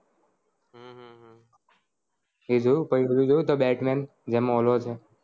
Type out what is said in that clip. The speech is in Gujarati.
એ જોયું પછી પેલું જોયું the Batman જેમાં પેલો છે